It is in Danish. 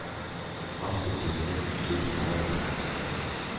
Afsend dokumentet i dette format.